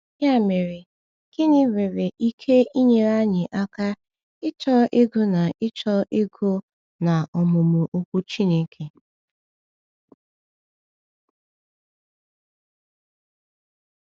Ya mere, gịnị nwere ike inyere anyị aka ịchọ ịgụ na ịchọ ịgụ na ọmụmụ Okwu Chineke?